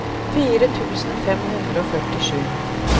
fire tusen fem hundre og førtisju